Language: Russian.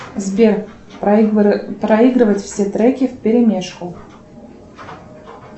сбер проигрывать все треки в перемешку